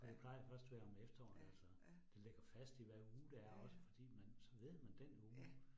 Ja. Ja ja, ja ja, ja